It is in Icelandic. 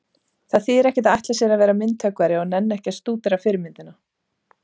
Það þýðir ekkert að ætla sér að verða myndhöggvari og nenna ekki að stúdera fyrirmyndina.